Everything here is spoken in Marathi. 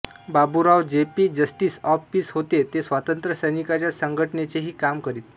Baburao JP justice of peace होते ते स्वातंत्र्य सैनिकांच्या संघटनेचेही काम करीत